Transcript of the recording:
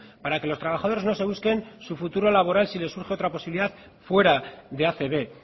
para que los trabajadores no se busquen su futuro laboral si les surge otra posibilidad fuera de acb